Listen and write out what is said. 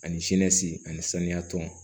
Ani sini ani saniya tɔn